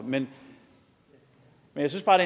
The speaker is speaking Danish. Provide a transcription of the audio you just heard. men jeg synes bare